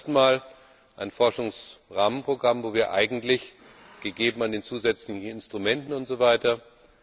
Wir haben zum ersten Mal ein Forschungsrahmenprogramm, wo wir eigentlich gemessen an den zusätzlichen Instrumenten usw.